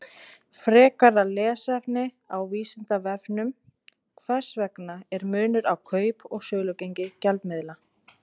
Frekara lesefni á Vísindavefnum: Hvers vegna er munur á kaup- og sölugengi gjaldmiðla?